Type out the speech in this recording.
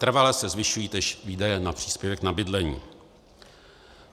Trvale se zvyšují též výdaje na příspěvek na bydlení.